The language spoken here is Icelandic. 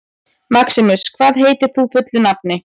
Maximus, hvað heitir þú fullu nafni?